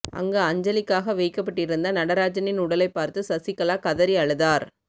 அங்கு அஞ்சலிக்காக வைக்கப்பட்டிருந்த நடராஜனின் உடலைப் பார்த்து சசிகலா கதறி அழுதார்